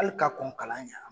Hali ka kɔn kalan ɲa